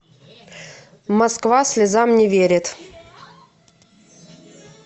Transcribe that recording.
москва слезам не верит